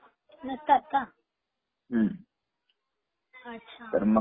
नसतात का? अच्छा